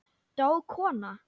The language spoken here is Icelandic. Dó kona?